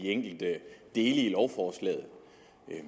enkelte dele i lovforslaget